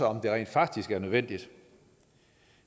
om det rent faktisk er nødvendigt